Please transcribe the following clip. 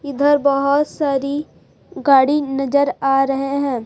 इधर बहोत सारी गाड़ी नजर आ रहे हैं।